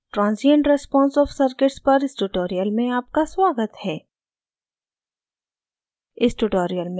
नमस्कार transient response of circuits पर इस tutorial में आपका स्वागत है